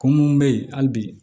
Ko mun be yen hali bi